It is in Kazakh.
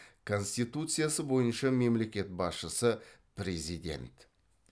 конституция бойынша мемлекет басшысы президент